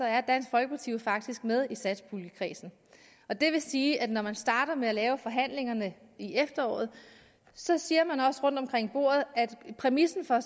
er dansk folkeparti jo faktisk med i satspuljekredsen og det vil sige at når man starter forhandlingerne i efteråret så siger man rundt omkring bordet at præmissen for